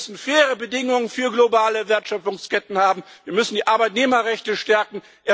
Wir müssen faire Bedingungen für globale Wertschöpfungsketten haben, wir müssen die Arbeitnehmerrechte stärken.